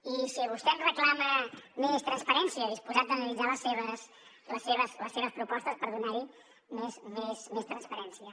i si vostè em reclama més transparència disposat a analitzar les seves propostes per donar hi més transparència